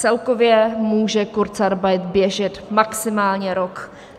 Celkově může kurzarbeit běžet maximálně rok.